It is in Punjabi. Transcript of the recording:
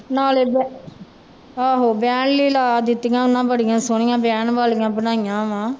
ਨਾਲੇ ਬੈ ਆਹੋ ਬਹਿਣ ਲਈ ਲਾ ਦਿੱਤੀਆਂ ਉਹਨਾਂ ਬੜੀਆਂ ਸੋਹਣੀਆਂ ਬਹਿਣ ਵਾਲੀਆਂ ਬਣਾਈਆਂ ਵਾਂ